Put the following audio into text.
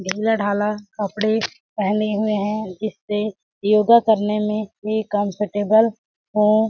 ढीला ढाला कपड़े पहने हुए है जिससे योगा करने में भी कम्फ़र्टेबल हो। .